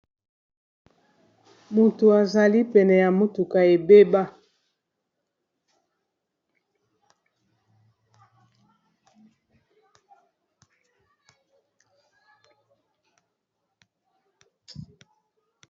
moto azali pene ya motuka ebeba